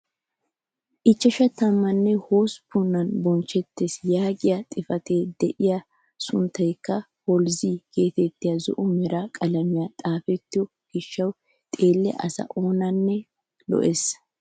Ichchashshe tammanne hosppunan bochchettees yaagiyaa xifatiyaara de'iyaa a sunttaykka "HOLOZY" getettiyaagee zo'o mera qalamiyan xaafetto gishshawu xeelliyaa asaa oonanne lo"ees!